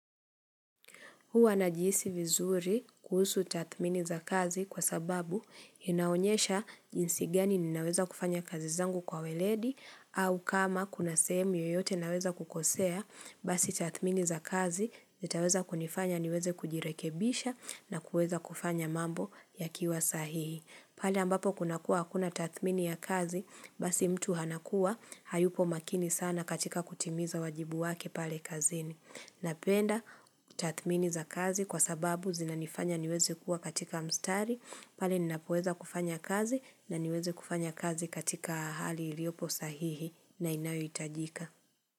Huwa najihuisi vizuri kuhusu tathmini za kazi kwa sababu inaonyesha jinsi gani ninaweza kufanya kazi zangu kwa weledi au kama kuna sehemu yoyote naweza kukosea basi tathmini za kazi zitaweza kunifanya niweze kujirekebisha na kuweza kufanya mambo yakiwa sahihi. Pale ambapo kuna kuwa hakuna tathmini ya kazi, basi mtu hanakuwa, hayupo makini sana katika kutimiza wajibu wake pale kazini. Napenda tathmini za kazi kwa sababu zinanifanya niweze kuwa katika mstari, pali ninapoweza kufanya kazi na niweze kufanya kazi katika hali iliopo sahihi na inayo hitajika.